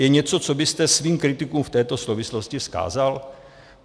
Je něco, co byste svým kritikům v této souvislosti vzkázal?